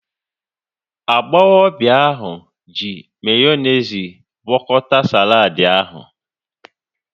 Agbọghọbịa ahu ji mayonezi gwakọta saladi ahu